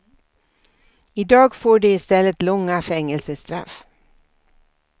I dag får de i stället långa fängelsestraff.